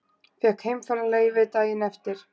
Fékk heimfararleyfi daginn eftir.